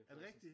Er det rigtig?